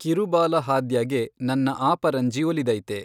ಕಿರುಬಾಲ ಹಾದ್ಯಗೆ ನನ್ನಆಪರನ್ಜಿ ಒಲಿದೈತೆ